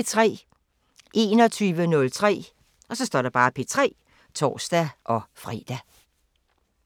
21:03: P3 (tor-fre)